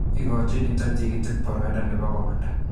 Ikojin nito tikitik boroindo nebo komanda